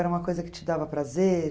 Era uma coisa que te dava prazer?